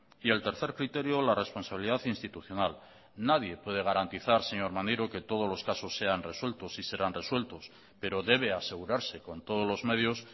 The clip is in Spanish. y el tercer criterio la responsabilidad institucional nadie puede garantizar señor maneiro que todos los casos sean resueltos y serán resueltos pero debe asegurarse con todos los medios